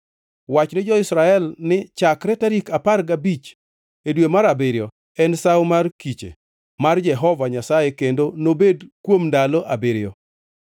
“Wach ni jo-Israel ni: ‘Chakre tarik apar gabich e dwe mar abiriyo en Sawo mar Kiche mar Jehova Nyasaye kendo nobedi kuom ndalo abiriyo.